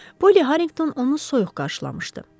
Poli Harrington onu soyuq qarşılamışdı.